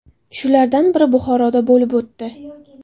Shulardan biri Buxoroda bo‘lib o‘tdi.